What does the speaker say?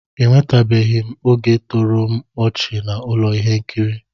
Enwetụbeghị m oge toro m ọchị na ụlọ ihe nkiri